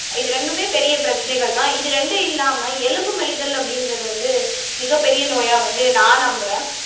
இது ரெண்டுமே பெரிய பிரச்சனைகள்தான் இது ரெண்டும் இல்லாம எலும்பு மெலிதல் அப்படின்றது வந்து மிகப்பெரிய நோயா வந்து நான் நம்புறேன்